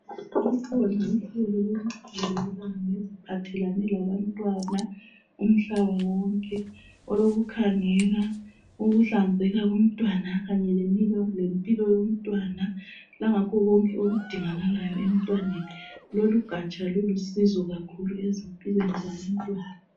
Lukhona uhlelo oluphathelane labantwana, umhlaba wonke. Olokukhangela ukuhlanzeka komntwana. Kanye lempilo yomntwana. Kanye lakho konke okudingakalayo emntwaneni. Lolugaja lulusizo kakhulu, ezimpilweni zabantwana.